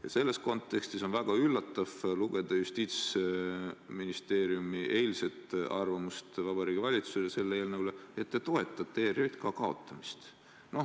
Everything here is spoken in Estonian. Ja selles kontekstis on väga üllatav lugeda Justiitsministeeriumi eilset arvamust Vabariigi Valitsuse selle eelnõu kohta, et te toetate ERJK kaotamist.